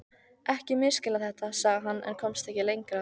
Ekki misskilja þetta, sagði hann en komst ekki lengra því